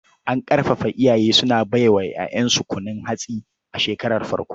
An ƙarfafar iyaye suna bai wa 'ya'yansu kunun hatsi a shekarar farko.